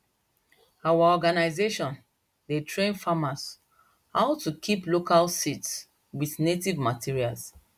our organisation dey train farmers how to kip local seeds with native materials